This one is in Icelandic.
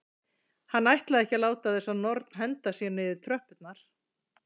Hann ætlaði ekki að láta þessa norn henda sér niður tröppurnar.